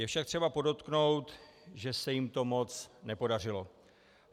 Je však třeba podotknout, že se jim to moc nepodařilo.